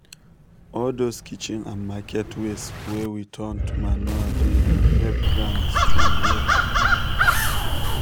all those kitchen and market waste wey we turn to manure dey um help ground strong well